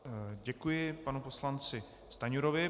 Děkuji panu poslanci Stanjurovi.